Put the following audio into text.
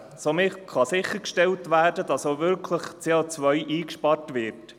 Somit kann sichergestellt werden, dass auch wirklich CO eingespart wird.